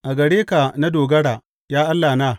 A gare ka na dogara, ya Allahna.